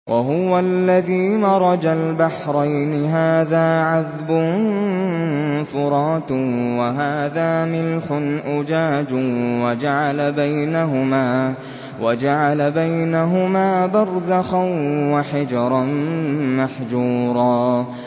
۞ وَهُوَ الَّذِي مَرَجَ الْبَحْرَيْنِ هَٰذَا عَذْبٌ فُرَاتٌ وَهَٰذَا مِلْحٌ أُجَاجٌ وَجَعَلَ بَيْنَهُمَا بَرْزَخًا وَحِجْرًا مَّحْجُورًا